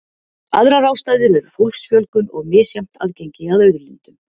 Aðrar ástæður eru fólksfjölgun og misjafnt aðgengi að auðlindum.